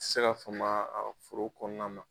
Se ka famaa a foro kɔɔna na